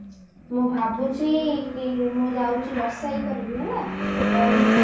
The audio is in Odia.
ମୁଁ ଭାବୁଛି ମୁଁ ଯାଉଛି ରୋଷେଇ କରିବି ହେଲା ରହିଲି